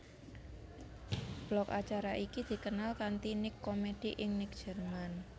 Blok acara iki dikenal kanti Nick Comedy ing Nick Jerman